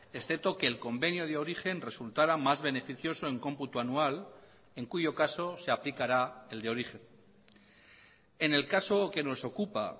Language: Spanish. excepto que el convenio de origen resultará más beneficioso en cómputo anual en cuyo caso se aplicará el de origen en el caso que nos ocupa